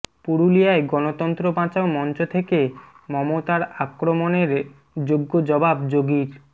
পুরুলিয়ায় গণতন্ত্র বাঁচাও মঞ্চ থেকে মমতার আক্রমণের যোগ্য় জবাব যোগীর